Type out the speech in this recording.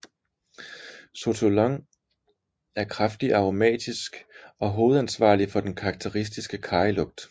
Sotolon er kraftigt aromatisk og hovedansvarligt for den karakteristiske karrylugt